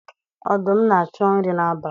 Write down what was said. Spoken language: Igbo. Ọdụm na-achọ nri n'abalị.